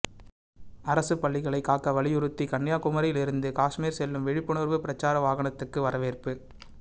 அரசு பள்ளிகளை காக்க வலியுறுத்தி கன்னியாகுமரியில் இருந்து காஷ்மீர் செல்லும் விழிப்புணர்வு பிரசார வாகனத்துக்கு வரவேற்பு